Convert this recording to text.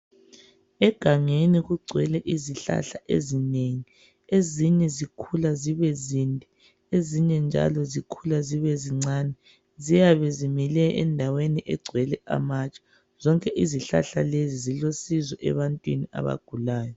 Egangeni kugcwele izihlahla ezinengi. Ezinye zikhula zibe zinde, ezinye njalo zikhula zibe zincane. Ziyabe zimile endaweni egcwele amatshe. Zonke izihlahla lezi zilusizo ebantwini abagulayo.